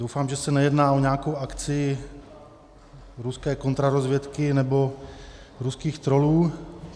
Doufám, že se nejedná o nějakou akci ruské kontrarozvědky nebo ruských trollů.